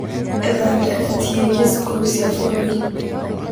Etha ndereti yĩgiĩ cukuru cia bururi.